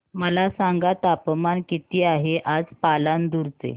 मला सांगा तापमान किती आहे आज पालांदूर चे